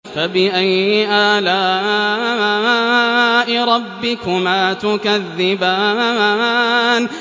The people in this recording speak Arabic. فَبِأَيِّ آلَاءِ رَبِّكُمَا تُكَذِّبَانِ